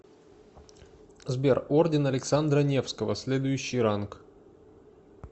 сбер орден александра невского следующий ранг